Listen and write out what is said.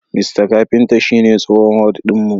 Mista Kafinta shine tsohon HOD din mu.